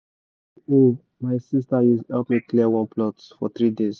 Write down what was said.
two hoe my sister use help me clear one plot for 3 days